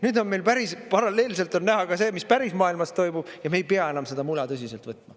Nüüd on meil paralleelselt näha ka see, mis päris maailmas toimub, ja me ei pea enam seda mula tõsiselt võtma.